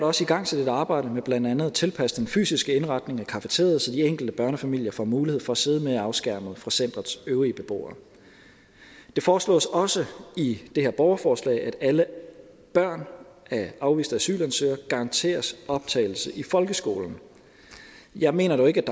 også igangsat et arbejde med blandt andet at tilpasse den fysiske indretning af cafeteriaet så de enkelte børnefamilier får mulighed for at sidde mere afskærmet fra centerets øvrige beboere det foreslås også i det her borgerforslag at alle børn af afviste asylansøgere garanteres optagelse i folkeskolen jeg mener dog ikke